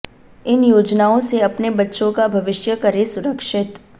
इन योजनाओं से अपने बच्चों का भविष्य करें सुरक्षित